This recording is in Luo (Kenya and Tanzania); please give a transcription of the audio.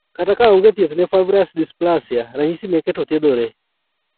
Kata ka onge thieth ne Fibrous dysplasia, ranyisi meke to thiedhore